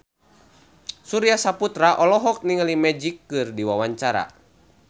Surya Saputra olohok ningali Magic keur diwawancara